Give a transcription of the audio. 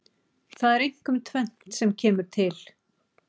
Það er einkum tvennt sem kemur til.